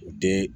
U den